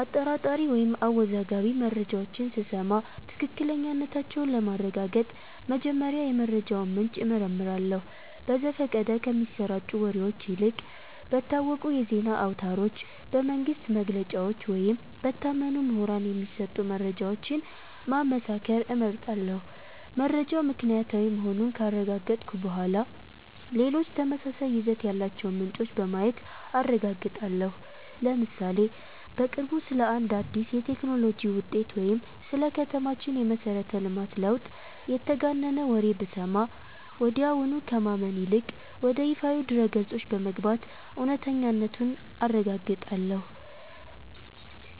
አጠራጣሪ ወይም አወዛጋቢ መረጃዎችን ስሰማ ትክክለኛነታቸውን ለማረጋገጥ መጀመሪያ የመረጃውን ምንጭ እመረምራለሁ። በዘፈቀደ ከሚሰራጩ ወሬዎች ይልቅ በታወቁ የዜና አውታሮች፣ በመንግሥት መግለጫዎች ወይም በታመኑ ምሁራን የሚሰጡ መረጃዎችን ማመሳከር እመርጣለሁ። መረጃው ምክንያታዊ መሆኑን ካረጋገጥኩ በኋላ፣ ሌሎች ተመሳሳይ ይዘት ያላቸውን ምንጮች በማየት አረጋግጣለሁ። ለምሳሌ፦ በቅርቡ ስለ አንድ አዲስ የቴክኖሎጂ ውጤት ወይም ስለ ከተማችን የመሠረተ ልማት ለውጥ የተጋነነ ወሬ ብሰማ፣ ወዲያውኑ ከማመን ይልቅ ወደ ይፋዊ ድረ-ገጾች በመግባት እውነተኛነቱን አረጋግጣለሁ።